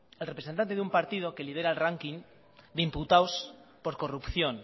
el representante de un partido que lidera el ranking de imputados por corrupción